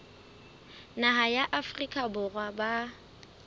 naha ya afrika borwa ba